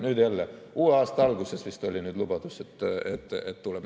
Nüüd jälle, vist oli lubadus, et tuleb uue aasta alguses.